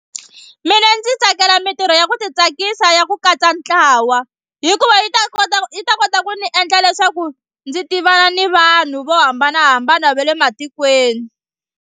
Mina ndzi tsakela mitirho ya ku titsakisa ya ku katsa ntlawa hikuva yi ta kota yi ta kota ku ni endla leswaku ndzi tivana ni vanhu vo hambanahambana va le matikweni.